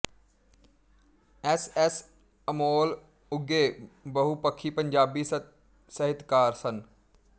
S S Amol ਉਘੇ ਬਹੁਪੱਖੀ ਪੰਜਾਬੀ ਸਾਹਿਤਕਾਰ ਸਨ